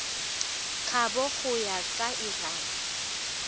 kabo go ya ka lrad